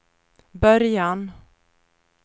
början